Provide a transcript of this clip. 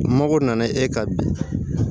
Mago nana e ka bi